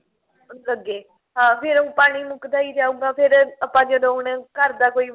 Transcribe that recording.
ਲੱਗੇ ਹਾਂ ਫੇਰ ਓਹ ਪਾਣੀ ਮੁੱਕਦਾ ਹੀ ਜਾਉਗਾ ਫੇਰ ਆਪਾਂ ਜਦੋਂ ਹੁਣ ਘਰ ਦਾ ਕੋਈ